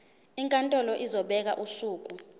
inkantolo izobeka usuku